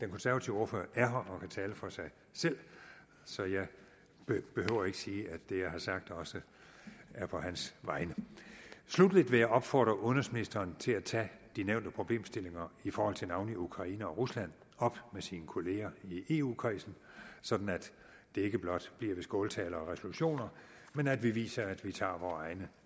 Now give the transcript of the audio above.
konservative ordfører er her og kan tale for sig selv så jeg behøver ikke sige at det jeg har sagt også er på hans vegne sluttelig vil jeg opfordre udenrigsministeren til at tage de nævnte problemstillinger i forhold til navnlig ukraine og rusland op med sine kolleger i eu kredsen så det ikke blot bliver ved skåltaler og resolutioner men at vi viser at vi tager vore egne